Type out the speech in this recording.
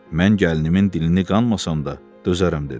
Mən gəlinimin dilini qanmasam da dözərəm dedi.